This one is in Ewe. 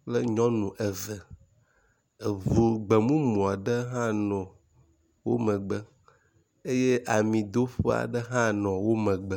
kple nyɔnu eve, eʋu gbemumu aɖe hã nɔ wo megbe eye amidoƒe aɖe hã nɔ wo megbe.